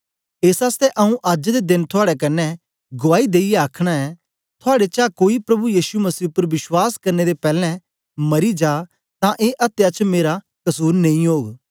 एस आसतै आंऊँ अज्ज दे देन थुआड़े कन्ने गुआई देईयै आखन ऐ थुआड़े चां कोई प्रभु यीशु मसीह उपर विश्वास करने दे पैलैं मरी जा तां ए अत्या च मेरा कसुर नेई ओग